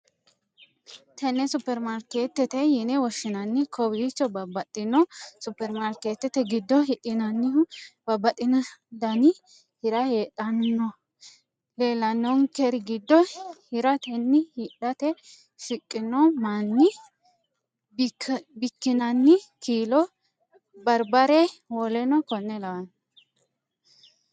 Tene suppermariketete yine woshinanni kowichonno babaxxinohu supermariketete gido hidhinanihu babaxino dani hirra heedhanno leelanonikeri gido hiratenna hidhate shiqino manni, bikkinanni kiilo baribare wkl